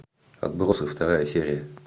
отбросы вторая серия